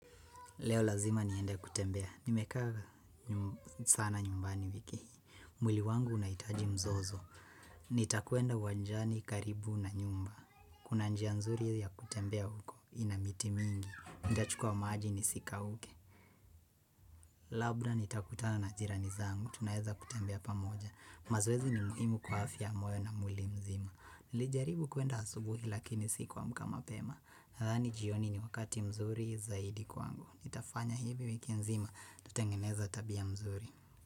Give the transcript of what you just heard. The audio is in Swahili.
Leo lazima ni ende kutembea. Nimekava sana nyumbani wiki. Mwili wangu unaitaji mzozo. Nitakuenda wanjani karibu na nyumba. Kuna njia nzuri ya kutembea huko. Inamiti mingi. Ndachukua maji ni sika uke. Labda nitakutana na jirani zangu. Tunaheza kutembea pa moja. Mazwezi ni muhimu kwa afia moyo na muli mzima. Nijaribu kuenda asubuhi lakini sikuamka mapema. Hadhani jioni ni wakati mzuri zaidi kwangu. Nitafanya hivi wiki nzima, tutengeneza tabia mzuri.